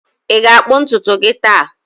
Ị ga-akpụ ntutu gị taa?